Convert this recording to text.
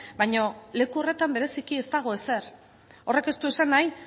baina leku horretan bereziki ez dago ezer horrek ez du esan nahi